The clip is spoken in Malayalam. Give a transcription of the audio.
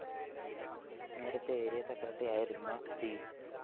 നേരത്തെ ആരിയ സെക്രട്ടറിയായിരുന്ന സി